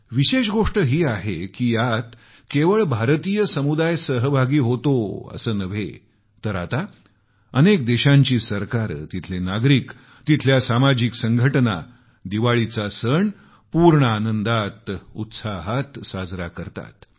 विशेष गोष्ट ही आहे की यात केवळ भारतीय समुदाय सहभागी होतात असं नव्हे तर आता अनेक देशांची सरकारे तिथले नागरिक तिथल्या सामाजिक संघटना दिवाळी सण पूर्ण आनंद उत्साहात साजरे करतात